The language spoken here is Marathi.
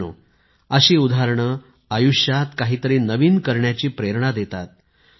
मित्रांनो अशी उदाहरणे आयुष्यात काही तरी नवीन करण्याची प्रेरणा देतात